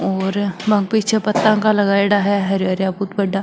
और बाके पीछे पत्ता का लगाईडा है हरा हरा बहुत बड़ा।